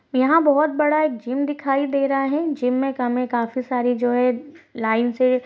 यहाँ बहुत बड़ा जिम दिखाई दे रहा है जिम में हमें काफी सारे जो है लाइन से --